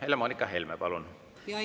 Helle-Moonika Helme, palun!